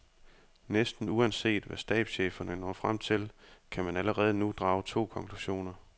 Næsten uanset hvad stabscheferne når frem til, kan man allerede nu drage to konklusioner.